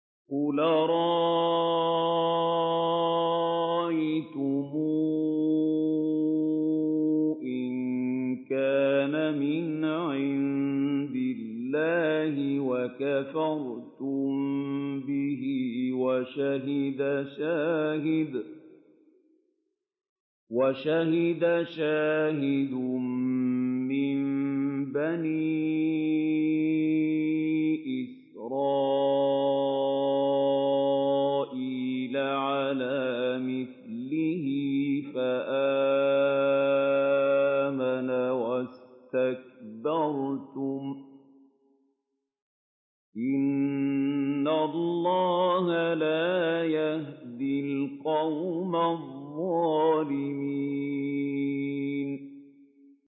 قُلْ أَرَأَيْتُمْ إِن كَانَ مِنْ عِندِ اللَّهِ وَكَفَرْتُم بِهِ وَشَهِدَ شَاهِدٌ مِّن بَنِي إِسْرَائِيلَ عَلَىٰ مِثْلِهِ فَآمَنَ وَاسْتَكْبَرْتُمْ ۖ إِنَّ اللَّهَ لَا يَهْدِي الْقَوْمَ الظَّالِمِينَ